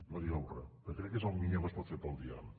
no digueu re perquè crec que és el millor que es pot fer pel diàleg